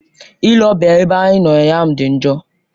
Ile ọbịa ya n'ebe anyị nọ ụnyaahụ dị njọ.